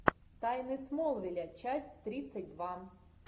тайны смолвиля часть тридцать два